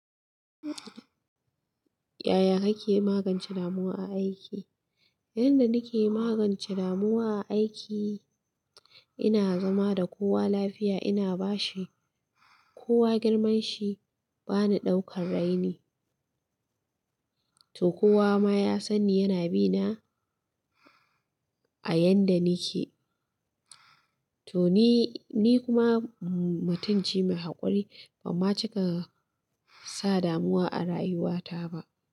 Yaya kake magance damuwa a aiki? Yanda nake magance damuwa a aiki, ina zama da kowa lafiya, ina ba shi kowa girman shi, bani ɗaukan raini, to kowa ma ya sani yana bina a yanda nake. To ni kuma mutumce mai hakuri, ban ma cika sa damuwa a rayuwata ba.